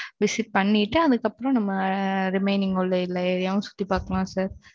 visit பண்ணிட்டு, அதுக்கப்புறம் நம்ம, remaining உள்ள, இல்ல areaவும், சுத்தி பார்க்கலாம், sir.